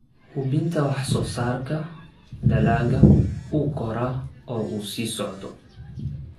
Hubinta in wax-soo-saarka dalagga uu koraa oo uu sii socdo.